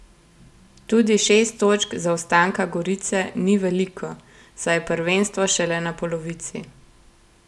Tudi šest točk zaostanka Gorice ni veliko, saj je prvenstvo šele na polovici.